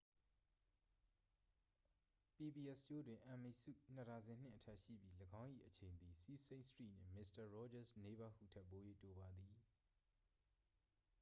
pbs ရှိုးတွင် emmy ဆု နှစ်ဒါဇင်နှင့် အထက်ရှိပြီး ၎င်း၏အချိန်သည် sesame street နှင့် mister rogers' neighborhood ထက်ပို၍တိုပါသည်